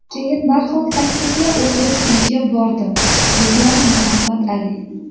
Keyin darhol taksiga o‘tirib uyiga bordim”, degan Muhammad Ali.